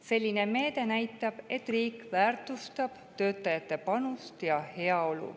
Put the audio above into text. Selline meede näitab, et riik väärtustab töötajate panust ja heaolu.